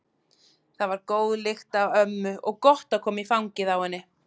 Það var góð lykt af ömmu og gott að koma í fangið á henni.